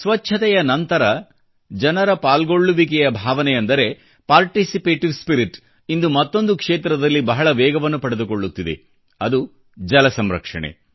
ಸ್ವಚ್ಚತೆಯ ನಂತರ ಜನರ ಪಾಲ್ಗೊಳ್ಳುವಿಕೆಯ ಭಾವನೆ ಅಂದರೆ ಪಾರ್ಟಿಸಿಪೇಟಿವ್ ಸ್ಪಿರಿಟ್ ಇಂದು ಮತ್ತೊಂದು ಕ್ಷೇತ್ರದಲ್ಲಿ ಬಹಳ ವೇಗವನ್ನು ಪಡೆದುಕೊಳ್ಳುತ್ತಿದೆ ಅದು ಜಲ ಸಂರಕ್ಷಣೆ